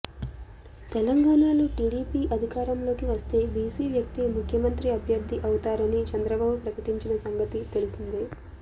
తెలంగాణలో టీడీపీ అధికారంలోకి వస్తే బీసీ వ్యక్తే ముఖ్యమంత్రి అభ్యర్థి అవుతారని చంద్రబాబు ప్రకటించిన సంగతి తెలిసిందే